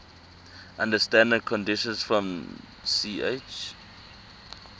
under standard conditions from ch